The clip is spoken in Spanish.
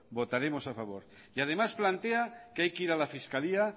votaremos a favor y además plantea que hay que ir a la fiscalía